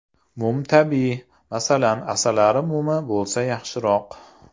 Mum tabiiy, masalan, asalari mumi bo‘lsa yaxshiroq.